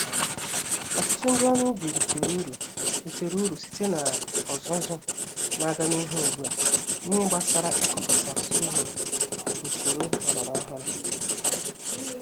Ọtụtụ ndị ọrụ ubi ritere uru ritere uru site n'ọzụzụ n'aga n'ihu ùgbúà, n'ihe gbásárá ịkọpụta sorghum nusoro ọlọrọ ọhụrụ